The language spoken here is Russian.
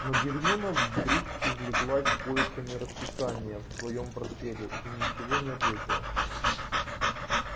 но гермиона вдруг увлеклась поисками расписания в своём портфеле и ничего не ответила